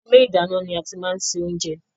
Inú ilé ìdáná ni a ti máa ń ṣe oúnjẹ.